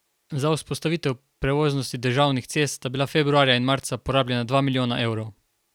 Za vzpostavitev prevoznosti državnih cest sta bila februarja in marca porabljena dva milijona evrov.